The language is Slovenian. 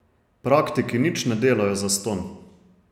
Praktiki nič ne dajo zastonj.